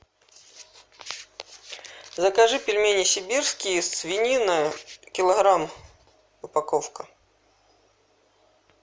закажи пельмени сибирские свинина килограмм упаковка